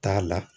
T'a la